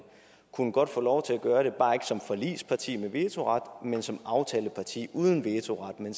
godt kunne få lov til at gøre det bare ikke som forligspartier med vetoret men som aftalepartier uden vetoret men